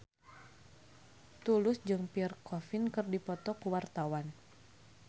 Tulus jeung Pierre Coffin keur dipoto ku wartawan